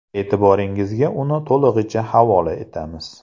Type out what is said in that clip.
E’tiboringizga uni to‘lig‘icha havola etamiz.